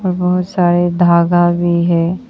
और बहुत सारे धागा भी है।